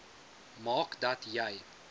maak dat jy